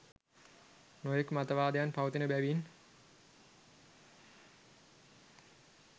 නොයෙක් මතවාදයන් පවතින බැවින්